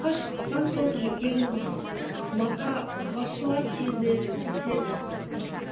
сыртқа шыққан соң жүкең мақа басшылар келеді кетеді